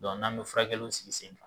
n'an bɛ furakɛliw sigi sen kan.